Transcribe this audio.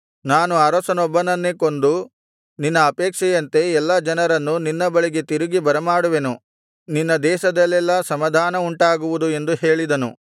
ನಾನು ಅರಸನೊಬ್ಬನನ್ನೇ ಕೊಂದು ನಿನ್ನ ಅಪೇಕ್ಷೆಯಂತೆ ಎಲ್ಲಾ ಜನರನ್ನು ನಿನ್ನ ಬಳಿಗೆ ತಿರುಗಿ ಬರಮಾಡುವೆನು ನಿನ್ನ ದೇಶದಲ್ಲೆಲ್ಲಾ ಸಮಾಧಾನವುಂಟಾಗುವುದು ಎಂದು ಹೇಳಿದನು